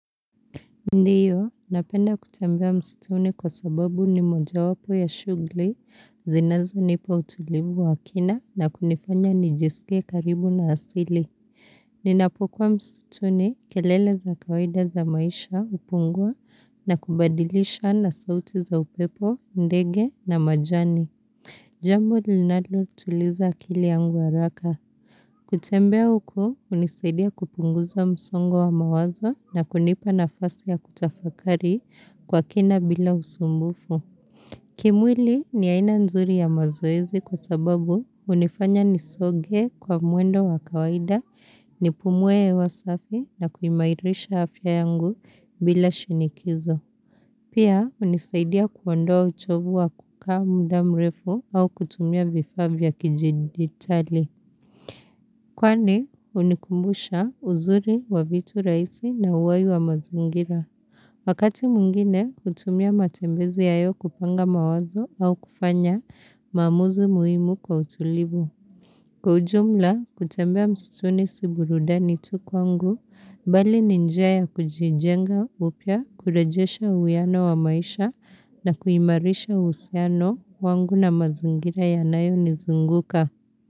Ndiyo, napenda kutembea msituni kwa sababu ni mojawapo ya shughuli, zinazonipa utulivu wa kina na kunifanya nijisikie karibu na asili. Ninapokuwa msituni kelele za kawaida za maisha hupungua na kubadilisha na sauti za upepo, ndege na majani. Jambo linalotuliza akili yangu haraka. Kutembea huko, hunisaidia kupunguza msongo wa mawazo na kunipa nafasi ya kutafakari kwa kina bila usumbufu. Kimwili ni aina nzuri ya mazoezi kwa sababu hunifanya nisoge kwa mwendo wa kawaida, nipumue hewa safi na kuimairisha afya yangu bila shinikizo. Pia, hunisaidia kuondoa uchovu wa kukaa muda mrefu au kutumia vifaa vya kijidigitali. Kwani hunikumbusha uzuri wa vitu rahisi na uhai wa mazingira. Wakati mwingine hutumia matembezi hayo kupanga mawazo au kufanya maamuzi muhimu kwa utulivu. Kwa ujumla kutembea msituni si burudani tu kwangu bali ni njia ya kujijenga upya kurejesha uwiano wa maisha na kuimarisha uhusiano wangu na mazingira yanayonizunguka.